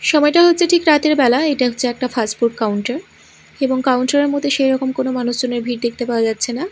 সময়টা হচ্ছে ঠিক রাতের বেলা এটা হচ্ছে একটা ফাস্টফুড কাউন্টার এবং কাউন্টার -এর মধ্যে সেই রকম কোনো মানুষজনের ভিড় দেখতে পাওয়া যাচ্ছে না।